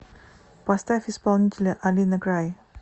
поставь исполнителя алина край